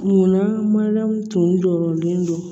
Munna maliyɛnw tun